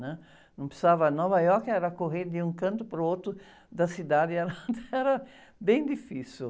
né? Num precisava, Nova York era correr de um canto para o outro da cidade, era era bem difícil.